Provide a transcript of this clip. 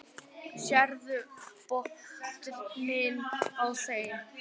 Sérðu botninn á þeim.